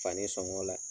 Fani sɔngɔ la